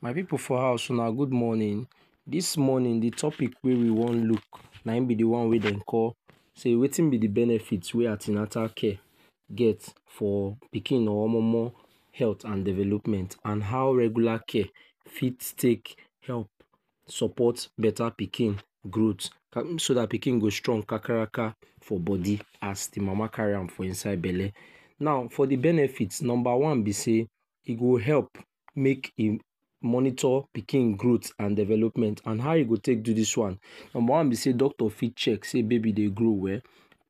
My pipu for house wunna good morning dis morning de topic wey we wan look na im be de wan wey we Dey call sey wetin be de benefit wey antinatal care for pikin or momo healt and development and how regular care fit take help support betta pikin growth so dat pikin go strong kakaraka for body as de mama carry am for inside belle now for de benefit number one be say e go help make I’m monitor pikin growth and development and how e go take go dis one number one be sey doctor fit check sey baby Dey grow well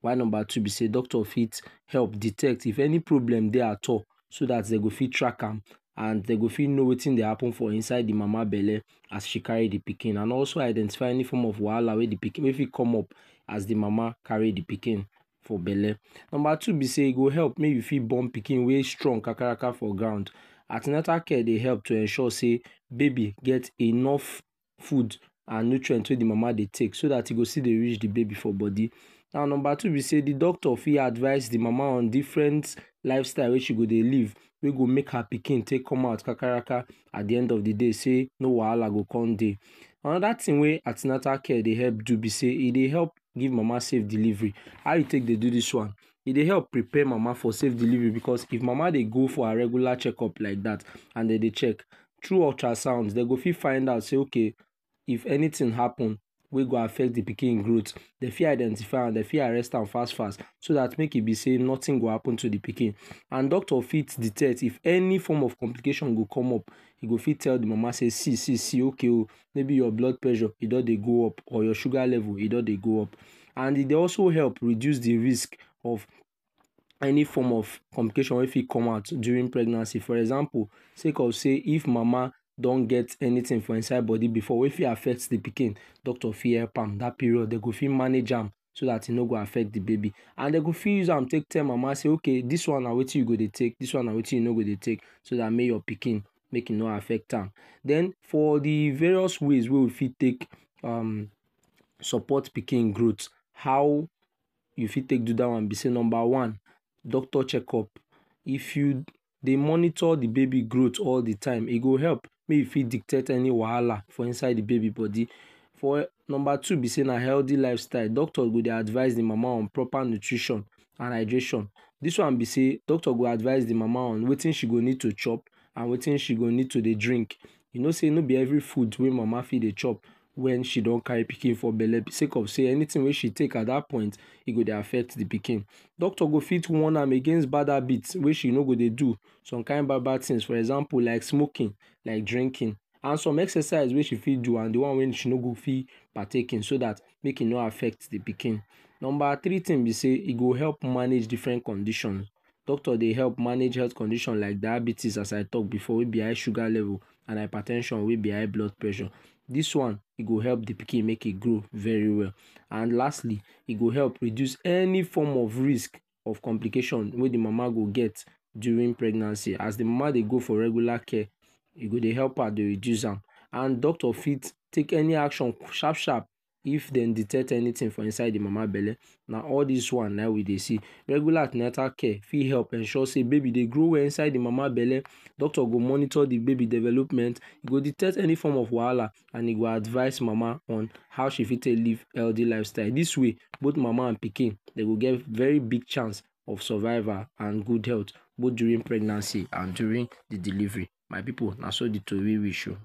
while number two be sey doctor fit help detect if any problem Dey at all so dem go fit track am and dem go fit know wetin Dey happen for inside de mama belle as she carry de pikin and also identify any form of wahala wey fit come up as de mama carry de pikin for belle number two be sey e go help make you fit born pikin wey strong kakaraka for ground anti natal care Dey help to ensure say baby get enough food and nutrients wey I’m mama Dey take so dat e go still Dey reach de baby for body now number two b sey de doctor fit advice de mama on different lifestyle wey she go Dey live wey go make her pikin take come out kakaraka at de end of de day sey no wahala go come Dey another thing wey antinatal care Dey help do be sey e Dey help give mama safe delivery how e take Dey do dis one e Dey help prepare mama for safe delivery because if mama de go for her regular check up like dat and Dey Dey check trough ultrasounds dem go fit find out sey okay if anything happen wey go affect de pikin growth dem fit identify am Dey fit arrest am fast fast so dat make e be say nothing go happen to de pikin and doctor fit detect if any form of complications go come up e go fit tell de mama say see see see okay ooo maybe your blood pressure e don Dey go up or your suger level e don Dey go up and e Dey also help reduce de risk of any form of complication wey fit com out during pregnancy for example secom sey if mama don get anything for inside body before wey fit affect de pikin doctor fit help am dat period dem go fit manage am so dat I’m no go affect de baby and Dey go fit use am take tell mama okay oo dis one na wetin you go take dis one na wetin you no go dey take make e no affect am den for de various ways wey we fit take um support pikin growth how we fit take do dat one b say number one doctor check up if you Dey monitor de baby growth all de time e go help make you fit detect any wahala for inside de baby body Number two b sey na healthy life style doctor go Dey advice de mama on proper nutrition and hydration dis one b sey doctor go advice de mama on wetin she go need to chop and wetin she go need to Dey drink you know sey no be every food wey mama fit dey chop wen she don carry pikin for belle sey anything wey she take at dat point e go Dey affect de pikin doctor go fit warn am against bad habit wey she no go Dey do some kin bad bad things for example like smoking like drinking and some exercise wey she fit do and de one wey she no go fit partake in so dat make im no affect de pikin Number three tin b sey e go help manage different condition doctor Dey help manage health condition like diabetes as I talk before wey b high sugar level and hyper ten sion wey b high blood pressure dis wan e go help de pikin make im grow very well and lastly e go help reduce any form of risk of complication wey de mama go get during pregnancy as de mama Dey go for regular care e go Dey help her Dey reduce am and doctor fit take any action sharp sharp if dem detect anything for inside de mama belle na all dis one na im we Dey see regular antinatal care fit help ensure say baby Dey grow well inside de mama belle doctor go monitor de baby development im go detect any form of wahala and e go advice mama on how she fit take live healthy lifestyle dis way both mama and pikin dem go get very big chance of survival and good health both during pregnancy and during de delivery My pipu na so de tori reach ooo